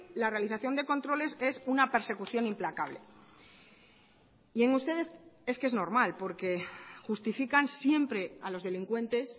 la realización de controles es una persecución implacable y en ustedes es que es normal porque justifican siempre a los delincuentes